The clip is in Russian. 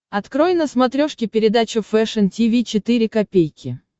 открой на смотрешке передачу фэшн ти ви четыре ка